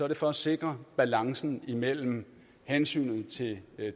det for at sikre balancen mellem hensynet til